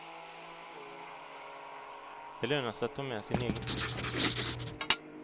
Det lönar sig att ta med sin egen.